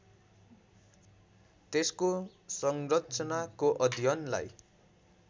त्यसको संरचनाको अध्ययनलाई